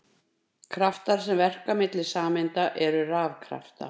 Kraftar sem verka milli sameinda eru rafkraftar.